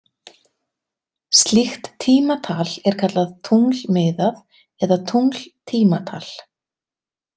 Slíkt tímatal er kallað tunglmiðað eða tungltímatal.